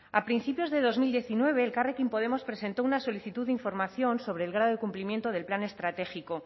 a principios de dos mil diecinueve elkarrekin podemos presentó una solicitud de información sobre el grado de cumplimiento del plan estratégico